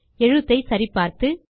எழுத்தை சரி பார்த்து